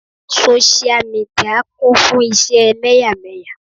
Sósíà midìà kún fún ìṣe ẹlẹ́yàmẹ̀yà.